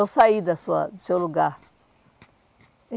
Não sair da sua do seu lugar.